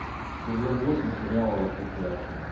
сезон восемь сериала во все тяжкие